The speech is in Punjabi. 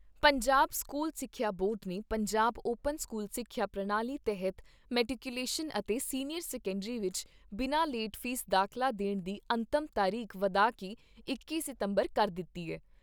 ਪੰਜਾਬ ਸਕੂਲ ਸਿੱਖਿਆ ਬੋਰਡ ਨੇ ਪੰਜਾਬ ਓਪਨ ਸਕੂਲ ਸਿੱਖਿਆ ਪ੍ਰਣਾਲੀ ਤਹਿਤ ਮੈਟੀਕੂਲੇਸ਼ਨ ਅਤੇ ਸੀਨੀਅਰ ਸੈਕੰਡਰੀ ਵਿਚ ਬਿਨਾ ਲੇਟ ਫੀਸ ਦਾਖਲਾ ਲੈਣ ਦੀ ਅੰਤਮ ਤਰੀਕ ਵਧਾ ਕੇ ਇੱਕੀ ਸਤੰਬਰ ਕਰ ਦਿੱਤੀ ਏ।